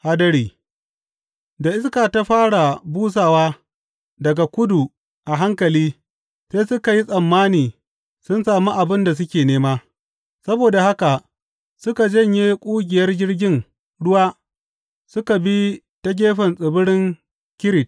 Hadari Da iska ta fara busowa daga kudu a hankali, sai suka yi tsammani sun sami abin da suke nema; saboda haka suka janye ƙugiyar jirgin ruwa suka bi ta gefen tsibirin Kirit.